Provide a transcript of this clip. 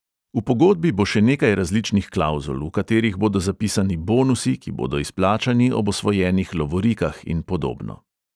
V pogodbi bo še nekaj različnih klavzul, v katerih bodo zapisani bonusi, ki bodo izplačani ob osvojenih lovorikah in podobno.